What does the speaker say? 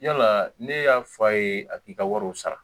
Yala ne y'a fɔ a ye a k'i ka wariw sara